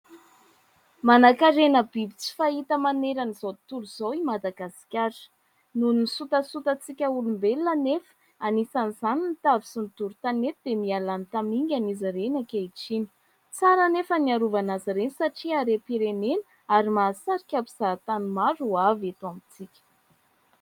Manankarena biby tsy fahita manerana izao tontolo izao i Madagasikara. Noho ny sotasotantsika olombelona nefa, anisan'izany : ny tavy sy ny doro tanety dia miha lany tamingana izy ireny ankehitriny. Tsara nefa ny hiarovana azy ireny satria harem-pirenena ary mahasarika mpizahantany maro ho avy eto amintsika.